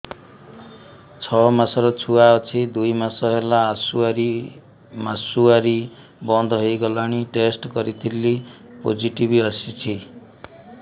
ଛଅ ମାସର ଛୁଆ ଅଛି ଦୁଇ ମାସ ହେଲା ମାସୁଆରି ବନ୍ଦ ହେଇଗଲାଣି ଟେଷ୍ଟ କରିଥିଲି ପୋଜିଟିଭ ଆସିଛି